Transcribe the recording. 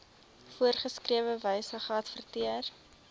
voorgeskrewe wyse geadverteer